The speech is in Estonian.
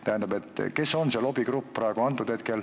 Tähendab, kes on praegu see lobigrupp?